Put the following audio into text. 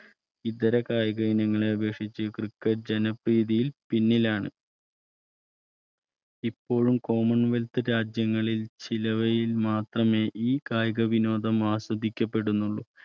ഇതര കായിക ഇനങ്ങളെ അപേക്ഷിച്ച് cricket ജനപ്രീതി പിന്നിലാണ് ഇപ്പോഴും Common wealth രാജ്യങ്ങളിൽ ചിലയവയിൽ മാത്രമേ കായിക വിനോദം ആസ്വദിക്കപ്പെടുന്നുള്ളൂ